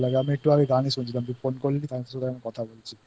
তো গান শুনতে খুব ভালো লাগে আমি একটু আগে গানই শুনছিলাম তুই Phone করলি তাই কথা বলছিI